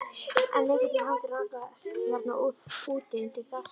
En lykillinn hangir á nagla hérna úti, undir þakskegginu.